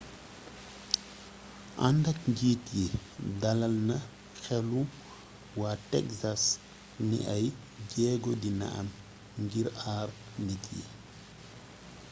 andak njiit yi dalal na xélu wa texas ni ay jéego dina am ngir aar nit yi